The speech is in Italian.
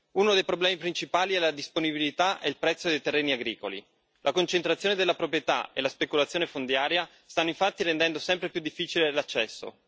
Uno dei problemi principali è la disponibilità e il prezzo dei terreni agricoli la concentrazione della proprietà e la speculazione fondiaria stanno infatti rendendo sempre più difficile l'accesso.